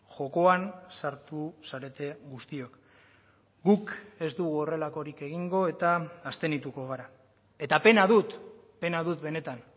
jokoan sartu zarete guztiok guk ez dugu horrelakorik egingo eta abstenituko gara eta pena dut pena dut benetan